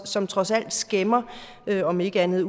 som trods alt skæmmer om ikke andet